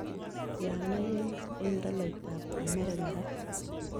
Tiana yens eng' tolaitap amerika raa